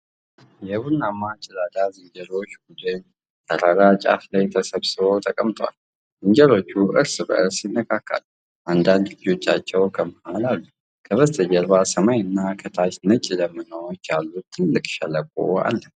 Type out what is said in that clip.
የቡናማ ጭላዳ ዝንጀሮዎች ቡድን ተራራ ጫፍ ላይ ተሰብስበው ተቀምጠዋል። ዝንጀሮዎቹ እርስ በእርስ ይነካካሉ፤ አንዳንድ ልጆቻቸው ከመሃል ላይ አሉ። ከበስተጀርባ ሰማይና ከታች ነጭ ደመናዎች ያሉት ጥልቅ ሸለቆ አለ።